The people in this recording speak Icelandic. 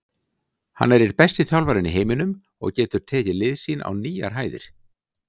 Hann er einn besti þjálfarinn í heiminum og getur tekið lið sín á nýjar hæðir.